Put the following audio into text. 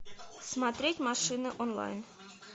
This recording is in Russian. смотреть машины онлайн